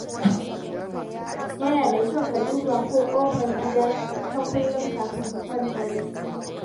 Yana da kyau ka duba ko ƙofar gida ta kullu kafin ka kwanta bacci.